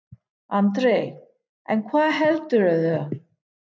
Andri: En hvað heldurðu?